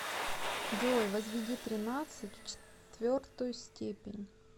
джой возведи тринадцать в четвертую степень